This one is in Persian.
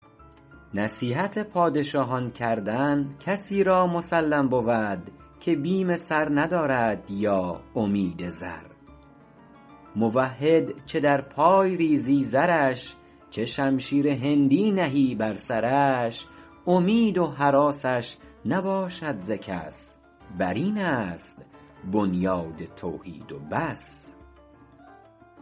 نصیحت پادشاهان کردن کسی را مسلم بود که بیم سر ندارد یا امید زر موحد چه در پای ریزی زرش چه شمشیر هندی نهی بر سرش امید و هراسش نباشد ز کس بر این است بنیاد توحید و بس